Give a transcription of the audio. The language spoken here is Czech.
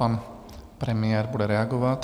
Pan premiér bude reagovat.